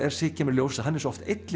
kemur í ljós að hann er svo oft einn